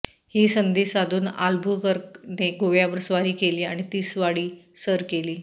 ही संधी साधुन आल्बुकर्क ने गोव्यावर स्वारी केली व तिसवाडी सर केली